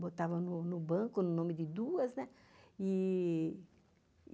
botava no banco no nome de duas, né?